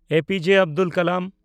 APJ. Abdul Kalam